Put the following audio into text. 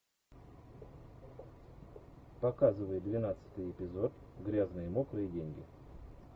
показывай двенадцатый эпизод грязные мокрые деньги